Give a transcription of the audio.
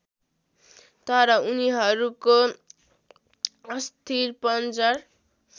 तर उनीहरूको अस्थिपंजर